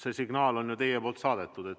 See signaal on teil ju nüüd saadetud.